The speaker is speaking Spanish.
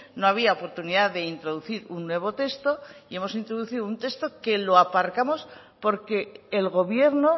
no había oportunidad de introducir un nuevo texto y hemos introducido un nuevo texto que lo aparcamos porque el gobierno